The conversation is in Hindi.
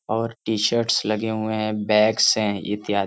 और टी-शर्ट्स लगे हुए हैं बैग्स हैं इत्यादि --